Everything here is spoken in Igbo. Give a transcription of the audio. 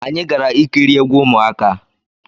Anyi gara ikiri egwu ụmụaka